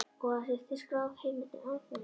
Og að til sé skráð heimild um atburðinn.